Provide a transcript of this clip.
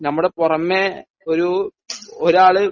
നമ്മുടെ പുറമേ ഒരു ഒരാള്